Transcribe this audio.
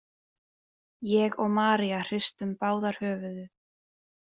Ég og María hristum báðar höfuðið.